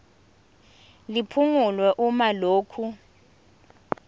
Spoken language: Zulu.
liphungulwe uma lokhu